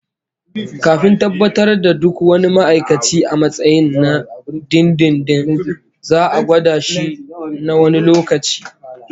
Kafin tabbatar da duk wani ma'aikaci a matsayin na dindindin, za'a gwada shi na wani lokaci